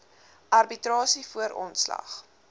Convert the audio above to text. arbitrasie voor ontslag